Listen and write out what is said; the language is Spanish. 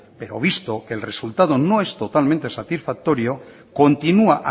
pero visto el resultado no es totalmente satisfactorio continúa